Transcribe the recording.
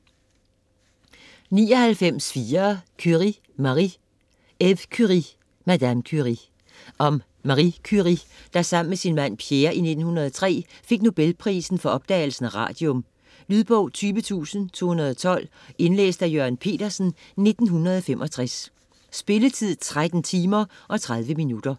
99.4 Curie, Marie Curie, Eve: Madame Curie Om Marie Curie, der sammen med sin mand Pierre i 1903 fik Nobelprisen for opdagelsen af radium. Lydbog 20212 Indlæst af Jørgen Petersen, 1965. Spilletid: 13 timer, 30 minutter.